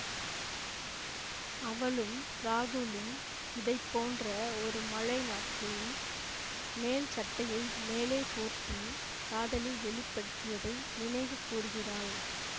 அவளும் ராகுலும் இதை போன்ற ஒரு மழை நாட்களில் மேல்சட்டையை மேலே போர்த்தி காதலை வெளிப்படுத்தியதை நினைவு கூர்கிறாள்